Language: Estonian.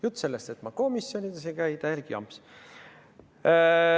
Jutt sellest, et ma komisjonides ei käi, on täielik jamps.